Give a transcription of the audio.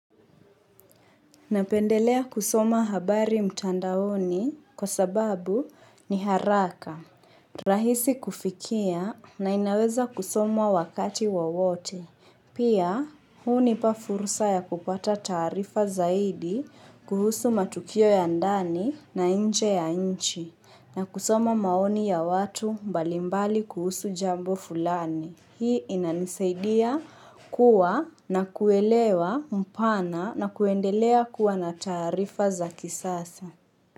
Napendelea kusoma habari mtandaoni kwa sababu ni haraka. Rahisi kufikia na inaweza kusomwa wakati wowote. Pia, hunipa furusa ya kupata taarifa zaidi kuhusu matukio ya ndani na inje ya nchi na kusoma maoni ya watu mbalimbali kuhusu jambo fulani. Hii inanisaidia kuwa na kuelewa mpana na kuendelea kuwa na taarifa za kisasa.